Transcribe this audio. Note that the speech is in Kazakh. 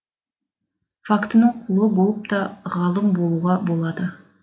фактінің құлы болып та ғалым болуға болады